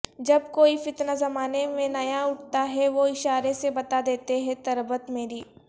جب کوئی فتنہ زمانے میں نیا اٹھتا ہے وہ اشارے سے بتادیتے ہیں تربت میری